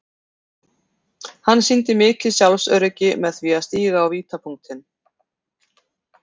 Hann sýndi mikið sjálfsöryggi með því að stíga á vítapunktinn.